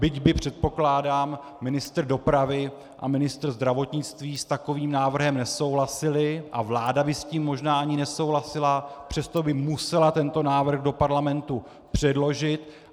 Byť by, předpokládám, ministr dopravy a ministr zdravotnictví s takovým návrhem nesouhlasili a vláda by s tím možná ani nesouhlasila, přesto by musela tento návrh do Parlamentu předložit.